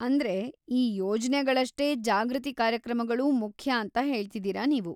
ಅಂದ್ರೆ, ಈ ಯೋಜ್ನೆಗಳಷ್ಟೇ ಜಾಗೃತಿ ಕಾರ್ಯಕ್ರಮಗಳೂ ಮುಖ್ಯ ಅಂತ ಹೇಳ್ತಿದೀರ ನೀವು.